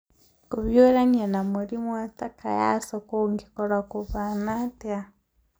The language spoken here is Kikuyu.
Kũhiũrania na mũrimũ wa Takayasu kũngĩkorũo kũhaana atĩa?